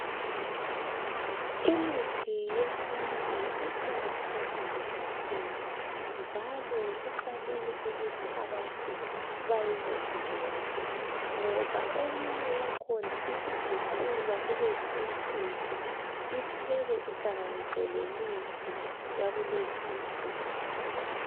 Imithi yesintu iqakathekile kakhulu njalo kufanele ukuthi abantu bayilondoloze ngoba eminye yakhona isiguqulwa kulezi insuku iphekwe ihlanganiswe le mithi yakulezi insuku.